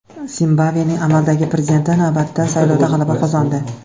Zimbabvening amaldagi prezidenti navbatdagi saylovda g‘alaba qozondi.